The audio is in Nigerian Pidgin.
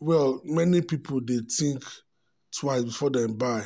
well many people dey think um twice before dem buy.